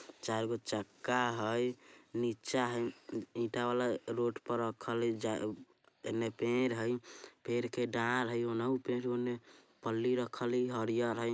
चारगो चक्का हई नीचे हई ईटा वाला रोड पे रखल हई इन्हें पेड़ हई पेड़ के ढाल हई उनहु पेड़ ओन्ने पल्ली रखल हई।